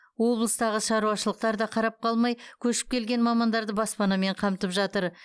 облыстағы шаруашылықтар да қарап қалмай көшіп келген мамандарды баспанамен қамтып жатыр